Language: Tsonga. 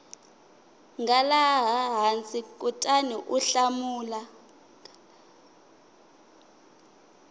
nga laha hansi kutaniu hlamula